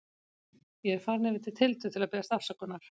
Ég er farinn yfir til Tildu til að biðjast afsökunar.